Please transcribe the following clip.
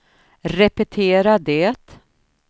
repetera det